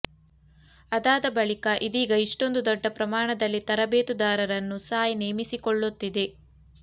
ಅದಾದ ಬಳಿಕ ಇದೀಗ ಇಷ್ಟೊಂದು ದೊಡ್ಡ ಪ್ರಮಾಣದಲ್ಲಿ ತರಬೇತುದಾರರನ್ನು ಸಾಯ್ ನೇಮಿಸಿಕೊಳ್ಳುತ್ತಿದೆ